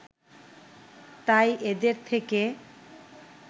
তাই এদের থেকে